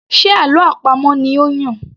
Ṣe àlọ́ àpamọ̀ ni ó Yàn?